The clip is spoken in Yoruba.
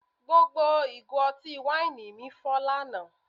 Gbogbo ìgò ọtí wáìnì mi fọ́ lánàá